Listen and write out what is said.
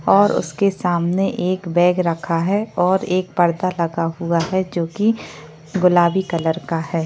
और उसके सामने एक बैग रखा है और एक पर्दा लगा हुआ है जो की गुलाबी कलर का है।